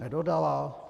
Nedodala?